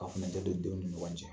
Ka furancɛ don denw ni ɲɔgɔn cɛ.